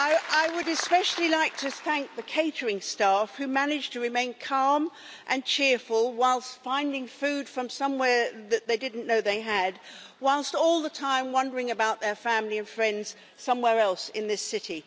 I would especially like to thank the catering staff, who managed to remain calm and cheerful whilst finding food from somewhere that they didn't know they had, whilst all the time wondering about their family and friends somewhere else in this city.